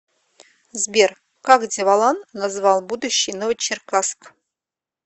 сбер как деволан назвал будущий новочеркасск